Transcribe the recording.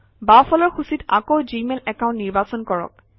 বাওঁফালৰ সূচীত আকৌ জিমেইল একাউণ্ট নিৰ্বাচন কৰক